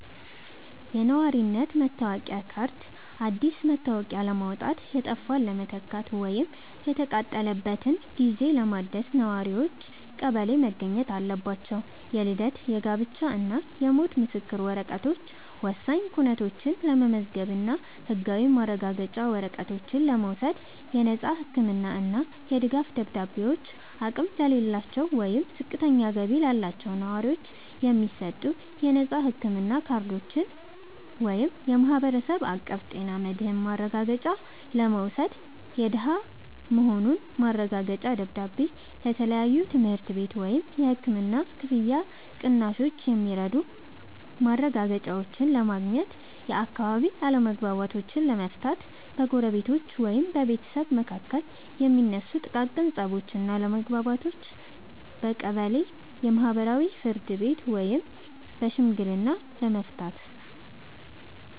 የነዋሪነት መታወቂያ ካርድ፦ አዲስ መታወቂያ ለማውጣት፣ የጠፋን ለመተካት ወይም የተቃጠለበትን ጊዜ ለማደስ ነዋሪዎች ቀበሌ መገኘት አለባቸው። የልደት፣ የጋብቻ እና የሞት ምስክር ወረቀቶች፦ ወሳኝ ኩነቶችን ለመመዝገብ እና ህጋዊ ማረጋገጫ ወረቀቶችን ለመውሰድ። የነፃ ህክምና እና የድጋፍ ደብዳቤዎች፦ አቅም ለሌላቸው ወይም ዝቅተኛ ገቢ ላላቸው ነዋሪዎች የሚሰጡ የነፃ ህክምና ካርዶችን (የማህበረሰብ አቀፍ ጤና መድህን ማረጋገጫ) ለመውሰድ። የደሃ መሆኑ ማረጋገጫ ደብዳቤ፦ ለተለያዩ የትምህርት ቤት ወይም የህክምና ክፍያ ቅናሾች የሚረዱ ማረጋገጫዎችን ለማግኘት። የአካባቢ አለመግባባቶችን ለመፍታት፦ በጎረቤቶች ወይም በቤተሰብ መካከል የሚነሱ ጥቃቅን ፀቦችን እና አለመግባባቶችን በቀበሌ የማህበራዊ ፍርድ ቤት ወይም በሽምግልና ለመፍታት።